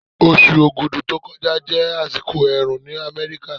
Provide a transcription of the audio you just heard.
Oṣù Ogudu tó kọjá jẹ́ àsìkò ẹ̀rùn ní Amẹ́ríkà.